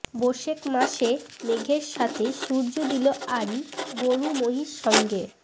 বোশেখ মাসে মেঘের সাথে সূর্য দিলো আড়ি গরু মহিষ সঙ্গে